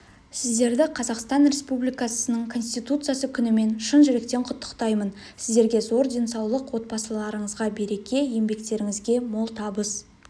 сіздерді қазақстан республикасының конституциясы күнімен шын жүректен құттықтаймын сіздерге зор денсаулық отбасыларыңызға береке еңбектеріңізге мол табыс